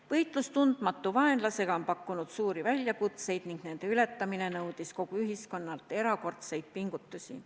Võitlus tundmatu vaenlasega on pakkunud suuri väljakutseid ning nende ületamine on nõudnud kogu ühiskonnalt erakordseid pingutusi.